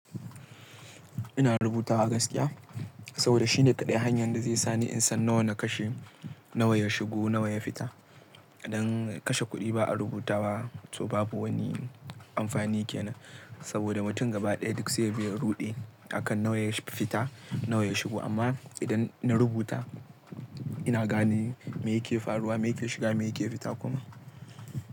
Ina rubutawa gaskiya saboda shine kaɗai hanyar da zai sani in san nawa na kashe, nawa ya shigo, nawa ya fita. Idan kashe kuɗi ba a rubuta wa, to babu wani amfani ke nan. Saboda mutum gaba ɗaya duk sai yabi ya ruɗe a kan nawa ya fita, nawa ya shigo. Amma idan na rubuta ina gane me yake faruwa, me yake shiga, me yake fita kuma.